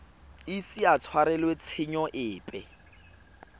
ise a tshwarelwe tshenyo epe